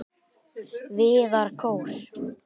Viðarkór